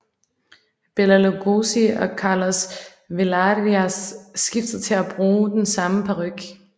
Bela Lugosi og Carlos Villarías skiftedes til at bruge den samme paryk